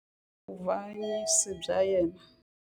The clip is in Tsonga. Vuavanyisi bya yena.